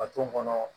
A t'o kɔnɔ